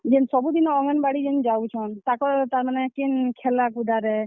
ଜେନ୍ ସବୁଦିନ ଅଙ୍ଗେନବାଡି ଜେନ୍ ଯାଉଛନ୍, ତାକର୍ ତାର୍ ମାନେ କେନ୍ ଖେଲାକୁଦାରେ।